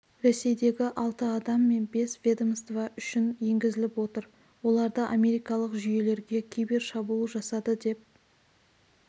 ресейдегі алты адам мен бес ведомство үшін енгізіліп отыр оларды америкалық жүйелерге кибершабуыл жасады деп